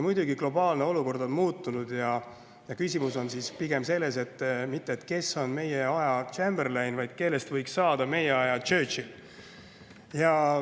Muidugi, globaalne olukord on muutunud ja küsimus ei ole selles, kes on meie aja Chamberlain, vaid pigem selles, kellest võiks saada meie aja Churchill.